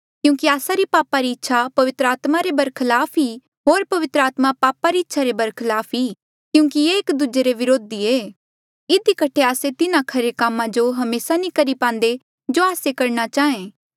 क्यूंकि आस्सा री पापा री इच्छा पवित्र आत्मा रे बरखलाफ ई होर पवित्र आत्मा पापा री इच्छा रे बरखलाफ ई क्यूंकि ये एक दूजे रे व्रोधी ऐें इधी कठे आस्से तिन्हा खरे कामा जो हमेसा नी करी पांदे जो आस्से करणा चाहें